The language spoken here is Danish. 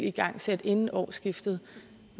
igangsat inden årsskiftet